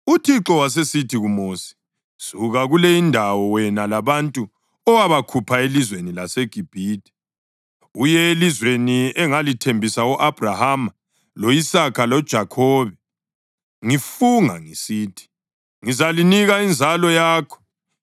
UThixo wasesithi kuMosi, “Suka kule indawo wena labantu owabakhupha elizweni laseGibhithe, uye elizweni engalithembisa u-Abhrahama lo-Isaka loJakhobe ngifunga ngisithi, ‘Ngizalinika inzalo yakho.’